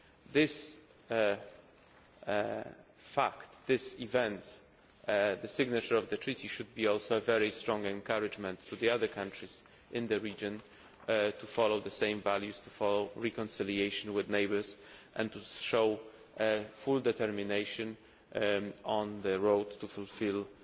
This fact, this event the signature of the Treaty should also be a very strong encouragement to the other countries in the region to follow the same values, to follow reconciliation with neighbours and to show full determination on the road to fulfilling